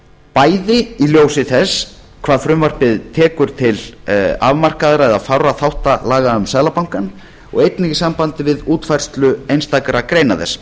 bæði í ljósi þess hvað frumvarpið tekur til afmarkaðra eða fárra þátta laga um seðlabankann og einnig í sambandi við útfærslu einstakra greina þess